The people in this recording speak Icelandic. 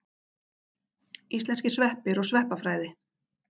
Íslenskir sveppir og sveppafræði.